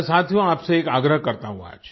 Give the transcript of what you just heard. मैं साथियो आपसे एक आग्रह करता हूँ आज